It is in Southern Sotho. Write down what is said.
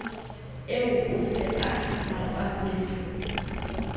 eo o se a rapaletse